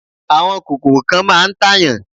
Àwọn kòkòrò kan máà ń tàyàn.